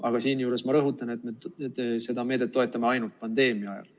Aga siinjuures ma rõhutan, et seda meedet toetame ainult pandeemia ajal.